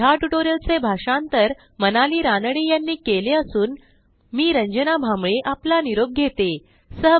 ह्या ट्युटोरियलचे भाषांतर मनाली रानडे यांनी केले असून मी रंजना भांबळे आपला निरोप घेते160